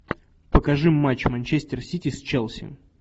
покажи матч манчестер сити с челси